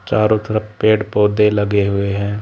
चारों तरफ पेड़ पौधे लगे हुए हैं।